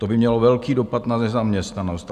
To by mělo velký dopad na nezaměstnanost.